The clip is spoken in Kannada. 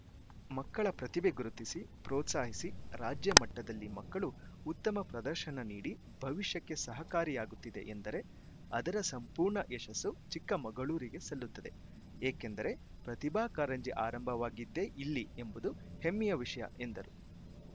ಮಕ್ಕಳ ಪ್ರತಿಭೆ ಗುರುತಿಸಿ ಪೋ ತ್ಸಾಹಿಸಿ ರಾಜ್ಯ ಮಟ್ಟದಲ್ಲಿ ಮಕ್ಕಳು ಉತ್ತಮ ಪ್ರದರ್ಶನ ನೀಡಿ ಭವಿಷ್ಯಕ್ಕೆ ಸಹಕಾರಿಯಾಗುತ್ತಿದೆ ಎಂದರೆ ಅದರ ಸಂಪೂರ್ಣ ಯಶಸ್ಸು ಚಿಕ್ಕಮಗಳೂರಿಗೆ ಸಲ್ಲುತ್ತದೆ ಏಕೆಂದರೆ ಪ್ರತಿಭಾ ಕಾರಂಜಿ ಆರಂಭವಾಗಿದ್ದೆ ಇಲ್ಲಿ ಎಂಬುದು ಹೆಮ್ಮೆಯ ವಿಷಯ ಎಂದರು